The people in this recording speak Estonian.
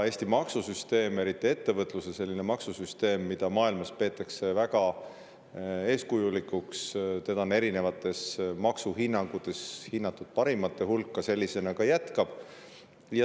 Eesti maksusüsteem, eriti ettevõtluse maksusüsteem, mida maailmas peetakse väga eeskujulikuks – seda on erinevates maksuhinnangutes hinnatud parimate hulka –, sellisena ka jätkab.